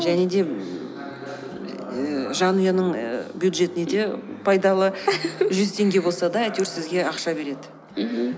және де ііі жанұяның ііі бюджетіне де пайдалы жүз теңге болса да әйтеуір сізге ақша береді мхм